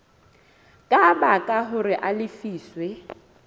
ka baka hore a lefiswe